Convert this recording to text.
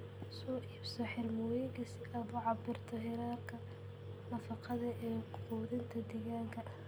Soo iibso xirmooyinka si aad u cabbirto heerarka nafaqada ee quudinta digaagga.